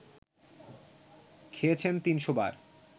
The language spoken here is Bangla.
খেয়েছেন ৩০০ বার